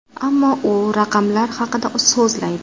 Ammo u raqamlar haqida so‘zlaydi.